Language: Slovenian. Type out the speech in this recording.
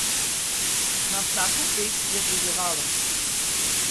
Na vsako ped je deževalo.